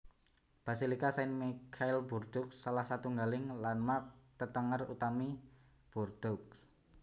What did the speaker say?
Basilika Saint Michel Bordeaux salah satunggaling landmark/tetenger utami Bordeaux